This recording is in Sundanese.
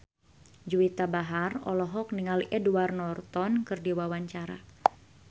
Juwita Bahar olohok ningali Edward Norton keur diwawancara